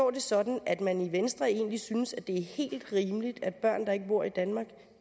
det sådan at man i venstre egentlig synes at det er helt rimeligt at børn der ikke bor i danmark